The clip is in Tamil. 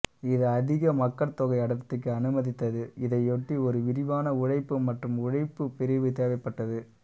இது அதிக மக்கட்தொகை அடர்த்திக்கு அனுமதித்தது இதையொட்டி ஒரு விரிவான உழைப்பு மற்றும் உழைப்புப் பிரிவு தேவைப்பட்டது